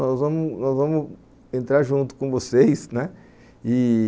Nós vamos nós vamos entrar junto com vocês, né?